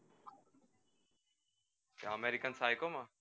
American Psycho માં